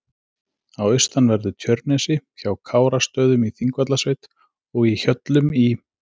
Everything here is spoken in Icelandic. á austanverðu Tjörnesi, hjá Kárastöðum í Þingvallasveit og í Hjöllum í